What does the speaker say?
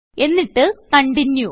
എന്നിട്ട് കണ്ടിന്യൂ